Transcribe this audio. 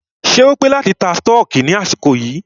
Ṣé o pé láti ta stọọkí ní àsìkò yìí?